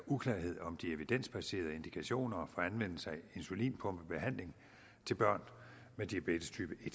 uklarhed om de evidensbaserede indikationer for anvendelse af insulinpumpebehandling af børn med diabetestype